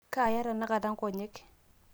kaaya tenakata nkonyek